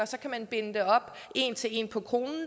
så kan man binde det op en til en på kronen